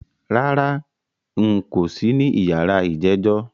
Rárá, n̄ kò sí ní yàrá ìjẹ́jọ́